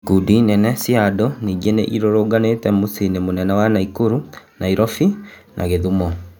Ikundi inene cia andũ ningĩ nĩ irũrũnganire miciĩ ini mĩ nene ya Naikuru, Nairobi na Gĩ thumo.